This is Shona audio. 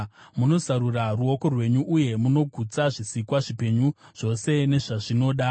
Munozarura ruoko rwenyu, uye munogutsa zvisikwa zvipenyu zvose nezvazvinoda.